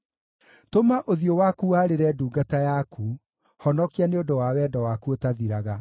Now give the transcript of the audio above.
Tũma ũthiũ waku warĩre ndungata yaku; honokia nĩ ũndũ wa wendo waku ũtathiraga.